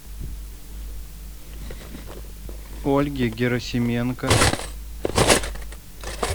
ольге герасименко